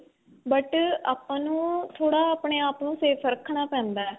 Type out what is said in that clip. but ਆਪਾਂ ਨੂੰ ਥੋੜਾ ਆਪਣੇ ਆਪ ਨੂੰ safe ਰੱਖਣਾ ਪੈਂਦਾ.